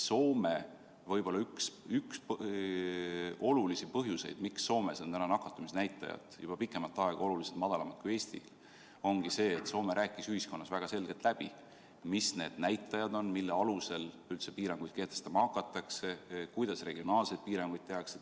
Võib-olla üks olulisi põhjuseid, miks Soomes on nakatumisnäitajad juba pikemat aega oluliselt madalamad kui Eestis, ongi see, et Soome rääkis ühiskonnas väga selgelt läbi, mis need näitajad on, mille alusel üldse piiranguid kehtestama hakatakse, ja kuidas regionaalseid piiranguid tehakse.